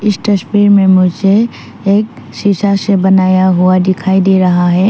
इस तस्वीर में मुझे एक सीसा से बनाया हुआ दिखाई दे रहा है।